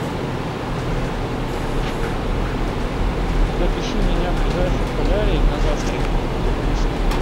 запиши меня в ближайший солярий на завтра